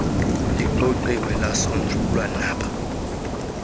lixoxiwe lasonjululwa naba